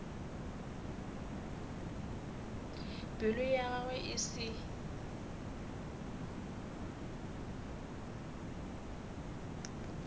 pelo ya gagwe e se